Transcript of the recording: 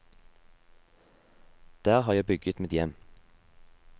Der har jeg bygget mitt hjem.